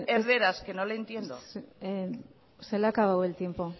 erderaz que no le entiendo se le ha acabado el tiempo